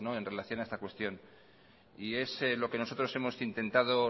en relación a esta cuestión y es lo que nosotros hemos intentando